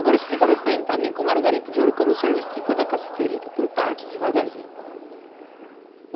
Agora explica para para mim como era o garimpo de ouro, como o senhor me explicou da cassiterita, por parte, devagarzinho.